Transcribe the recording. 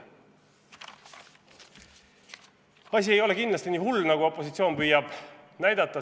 Asi ei ole kindlasti nii hull, nagu opositsioon püüab näidata.